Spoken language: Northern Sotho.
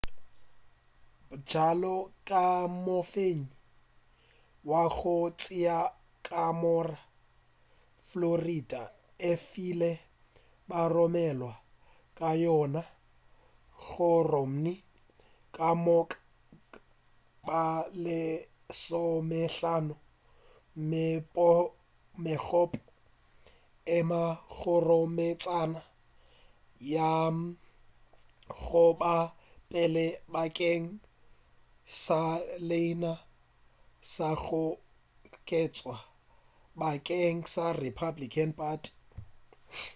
bjalo ka mofenyi wa go tšea ka moka florida e file baromelwa ba yona go romney ka moka ba lesomehlano megopo e mo kgoromeletša go ya go ba wa pele bakeng sa leina la go kgethwa bakeng sa republican party